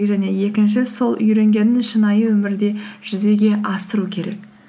және екінші сол үйренгенін шынайы өмірде жүзеге асыру керек